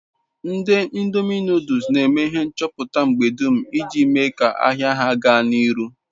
Ndi ndomi noduls n'eme ihe nchuputa mgbe dum iji mee ka-ahia ha gaa n'iru